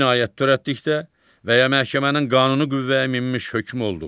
Cinayət törətdikdə və ya məhkəmənin qanuni qüvvəyə minmiş hökmü olduqda.